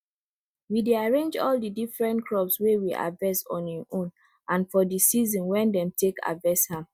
we dey arrange all di different crop wey we harvest on hin own and fo di season wen dem take harvest am